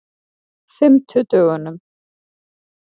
fimmtudögunum